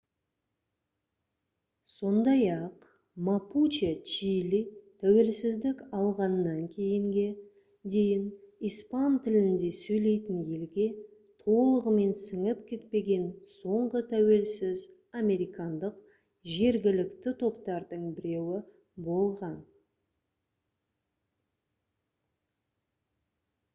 сондай-ақ мапуче чили тәуелсіздік алғаннан кейінге дейін испан тілінде сөйлейтін елге толығымен сіңіп кетпеген соңғы тәуелсіз американдық жергілікті топтардың біреуі болған